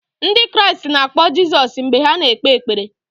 Ndị Kraịst na-akpọ Jizọs mgbe ha na-ekpe ekpere.